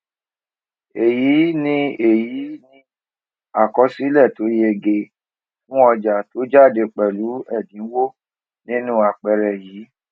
èyí ni èyí ni àkọsílè tó yege fún ọjà tó jáde pèlú èdínwó nínú àpẹẹrẹ yìí